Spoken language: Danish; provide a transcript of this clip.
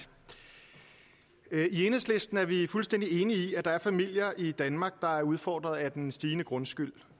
i enhedslisten er vi fuldstændig enige i at der er familier i danmark der er udfordret af den stigende grundskyld